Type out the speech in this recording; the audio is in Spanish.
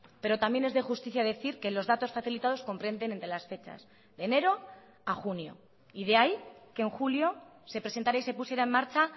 pero también es de justicia decir que los datos facilitados comprenden entre las fechas de enero a junio y de ahí que en julio se presentará y se pusiera en marcha